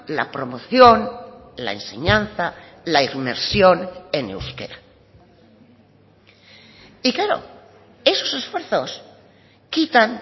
la promoción la enseñanza la inmersión en euskera y claro esos esfuerzos quitan